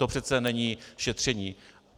To přece není šetření.